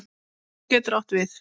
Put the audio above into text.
Hofsá getur átt við